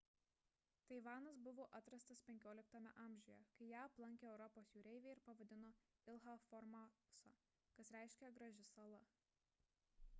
taivanas buvo atrastas xv amžiuje kai ją aplankė europos jūreiviai ir pavadino ilha formosa kas reiškia graži sala